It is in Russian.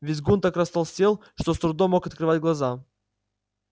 визгун так растолстел что с трудом мог открывать глаза